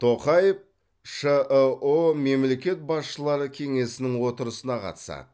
тоқаев шыұ мемлекет басшылары кеңесінің отырысына қатысады